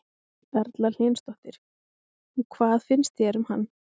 Erla Hlynsdóttir: Og hvað finnst þér um hann?